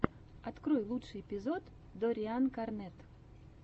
открой лучший эпизод доррианкарнетт